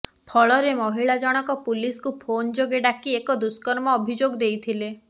ଫଳରେ ମହିଳା ଜଣକ ପୁଲିସକୁ ଫୋନ୍ ଯୋଗେ ଡାକି ଏକ ଦୁଷ୍କର୍ମ ଅଭିଯୋଗ ଦେଇଥିଲେ